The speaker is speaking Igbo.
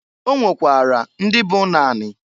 O nwekwara ndị bụ ụnọ anị.